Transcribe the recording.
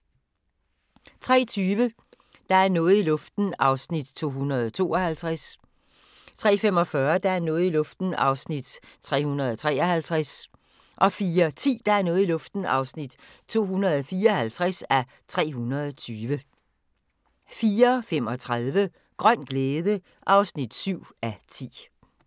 03:20: Der er noget i luften (252:320) 03:45: Der er noget i luften (253:320) 04:10: Der er noget i luften (254:320) 04:35: Grøn glæde (7:10)